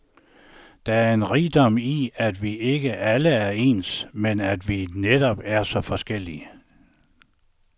Der er en rigdom i, at vi ikke alle er ens, men at vi netop er så forskellige.